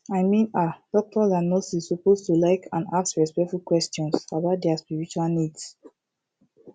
i min ah doctors and nurses suppose to like and ask respectful questions about dia spiritual needs